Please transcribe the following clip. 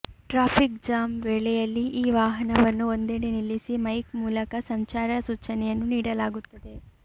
traffic jam ವೇಳೆಯಲ್ಲಿ ಈ ವಾಹನವನ್ನು ಒಂದೆಡೆ ನಿಲ್ಲಿಸಿ ಮೈಕ್ ಮೂಲಕ ಸಂಚಾರ ಸೂಚನೆಯನ್ನು ನೀಡಲಾಗುತ್ತದೆ